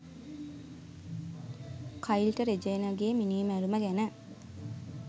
කයිල්ට රෙජෙයිනගේ මිණීමැරුම ගැන